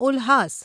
Ulhas